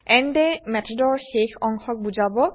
and এমেথডৰ শেষ অংশক বুজাব